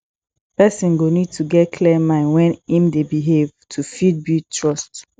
person go need to get clear mind when im dey behave to fit build trust